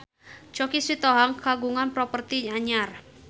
Choky Sitohang kagungan properti anyar